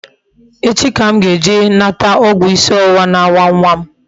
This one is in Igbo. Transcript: Echi ka m ga-eje nata ogwu isi owuwa na-awa nwa m